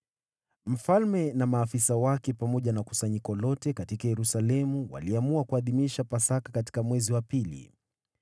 Mfalme na maafisa wake pamoja na kusanyiko lote katika Yerusalemu waliamua kuadhimisha Pasaka katika mwezi wa pili.